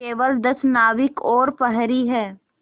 केवल दस नाविक और प्रहरी है